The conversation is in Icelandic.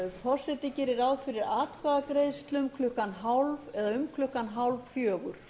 forseti gerir ráð fyrir atkvæðagreiðslum um klukkan hálffjögur